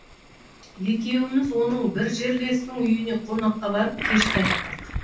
екеуміз оның бір жерлесінің үйіне қонаққа барып кеш қайттық